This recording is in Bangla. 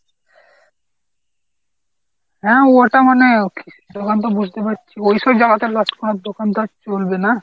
হ্যাঁ ওটা মানে okay দোকান তো বসতে পারছি ওই সব জাগায় তো দোকান তো আর চলবে না।